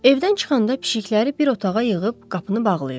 Evdən çıxanda pişikləri bir otağa yığıb qapını bağlayırdı.